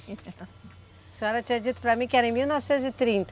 A senhora tinha dito para mim que era em mil novecentos e trinta.